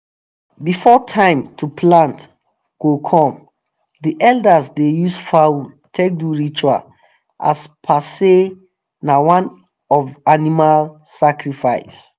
before time to plant go come the elders dey use fowl take do ritual as per say na one of animal sacrifice.